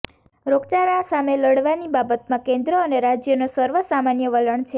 રોગચાળા સામે લડવાની બાબતમાં કેન્દ્ર અને રાજ્યનો સર્વસામાન્ય વલણ છે